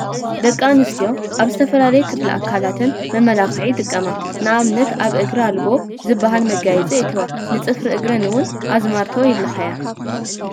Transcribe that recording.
ደቂ ኣንስትዮ ኣብ ዝተፈላለየ ክፍሊ ኣካላተን መመላክዒ ይጥቀማ፡፡ ንኣብነት ኣብ እግረን ኣልቦ ዝበሃል መጋየፂ የእትዋ፡፡ ንፅፍሪ እግረን እውን ኣዝማልቶ ይለኽያ፡፡